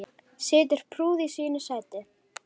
Situr prúð í sínu sæti.